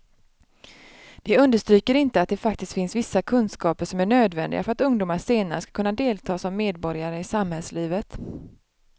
De understryker inte att det faktiskt finns vissa kunskaper som är nödvändiga för att ungdomar senare ska kunna delta som medborgare i samhällslivet.